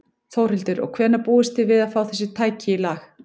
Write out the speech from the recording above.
Þórhildur: Og hvenær búist þið við að fá þessi tæki í lag?